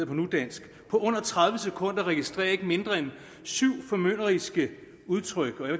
på nudansk på under tredive sekunder registrere ikke mindre end syv formynderiske udtryk